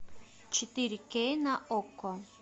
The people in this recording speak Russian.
четыре кей на окко